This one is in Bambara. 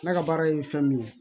Ne ka baara ye fɛn min ye